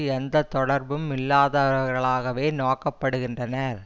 எந்த தொடர்பும் இல்லாதவர்களாகவே நோக்கப் படுகின்றனர்